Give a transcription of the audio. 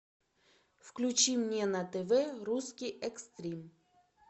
включи мне на тв русский экстрим